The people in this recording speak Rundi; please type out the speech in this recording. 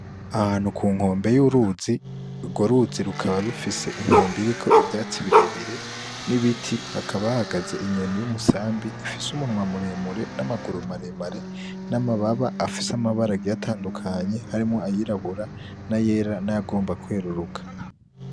Ahantu ku nkombe y'uruzi, urwo ruzi rukaba rufise inkombe iriko ivyatsi birebire n'ibiti, hakaba hahagaze inyoni y' umusambi ifis' umunwa muremure, n'amagaru maremare, n'amababa afis'amabara agiye atandukanye harimwo ayirabura, n'ayera n'ayagomba kweruruka.